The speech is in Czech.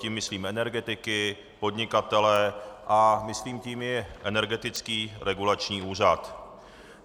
Tím myslím energetiky, podnikatele a myslím tím i Energetický regulační úřad.